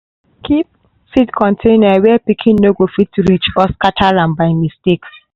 keep seed container where pikin no go fit reach or scatter am by mistake.